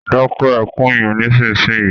Dáké ekún yen nísìsiyìí!